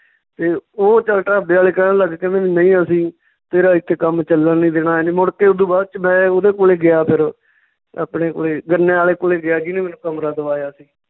ਤੇ ਓਹ ਚੱਲ ਢਾਬੇ ਵਾਲੇ ਕਹਿਣ ਲੱਗ ਗਏ ਕਹਿੰਦੇ ਨਈਂ ਅਸੀਂ ਤੇਰਾ ਏਥੇ ਕੰਮ ਚੱਲਣ ਨੀ ਦੇਣਾ ਮੁੜ ਕੇ ਓਦੂ ਬਾਅਦ ਚ ਮੈਂ ਉਹਦੇ ਕੋਲੇ ਗਿਆ ਫਿਰ ਆਪਣੇ ਕੋਲੇ ਗੰਨੇ ਆਲੇ ਕੋਲੇ ਗਿਆ ਜਿਹਨੇ ਮੈਨੂੰ ਕਮਰਾ ਦਵਾਇਆ ਸੀ